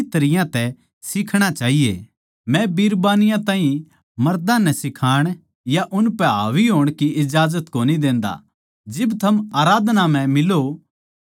मै बिरबानियाँ ताहीं मर्दां नै सिखाण या उसपै हावी होण की इजाजत कोनी देंदा जिब थम आराधना म्ह मिलो हो तो बिरबानियाँ नै चुप रहणा चाहिए